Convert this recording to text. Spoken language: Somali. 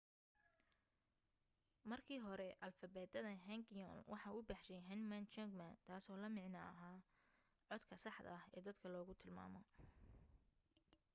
markii hore alifbeetada hangeul waxa uu baxshay hunmin jeongeum taaso la macno aha codka saxda ah ee dadka lagu tilmaamo.